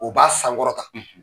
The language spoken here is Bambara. O b'a sankɔrɔta.